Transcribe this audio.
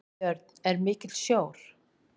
Björn: Er mikill sjór?